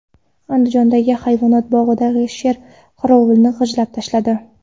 Andijondagi hayvonot bog‘ida sher qorovulni g‘ajib tashladi.